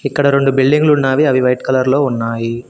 ఇక్కడ రొండు బిల్డింగ్ లు ఉన్నావి అవి వైట్ కలర్ లో ఉన్నాయి.